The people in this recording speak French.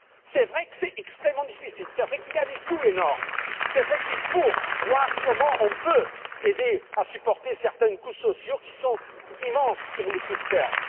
C'est vrai que c'est extrêmement difficile, c'est vrai qu'il y a des coûts énormes, c'est vrai qu'il faut voir comment on peut aider à supporter certains coûts sociaux qui sont immenses sur le court terme.